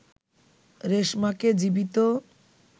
রেশমাকে জীবিত